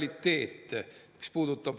Vaat selle pärast saab see kõik juhtuda.